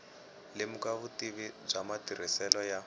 lemuka vutivi bya matirhiselo ya